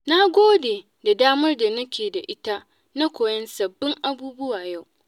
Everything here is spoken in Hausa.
Na gode da damar da nake da ita na koyon sabbin abubuwa yau.